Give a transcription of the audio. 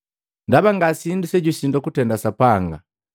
Ndaba ngasindu sejusindwa kutenda Sapanga.”